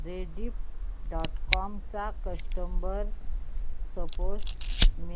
Rediff dot com चा customer support